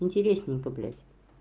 интересненько блядь